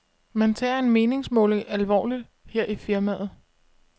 Man tager en meningsmåling alvorligt her i firmaet.